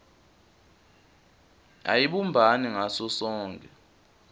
ayibumbani ngaso sonkhe